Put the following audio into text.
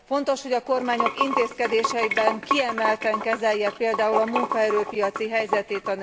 Fontos, hogy a kormányok intézkedéseikben kiemelten kezeljék például a nők munkaerő piaci helyzetét.